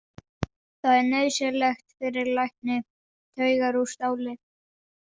Það er nauðsynlegt fyrir lækni: taugar úr stáli.